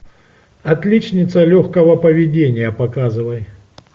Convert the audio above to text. отличница легкого поведения показывай